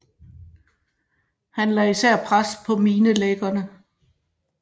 Han lagde især pres på minelæggerne